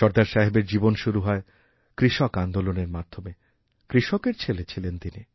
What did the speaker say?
সর্দারসাহেবের জীবন শুরু হয় কৃষক আন্দোলনের মাধ্যমে কৃষকের ছেলে ছিলেন তিনি